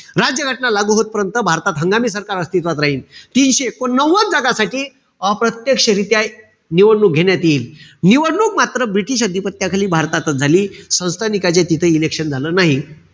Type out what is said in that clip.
राज्य घटना लागू होत पर्यंत भारतात हंगामी सरकार अस्तित्वात राहील. तीनशे एकोणनव्वद जागासाठी अप्रत्यक्षरीत्या निवडणूक घेण्यात येईल. निवडणूक मात्र british अधिपत्याखाली भारतातचं झाली. संस्थानिकांचे तिथं election झालं नाई.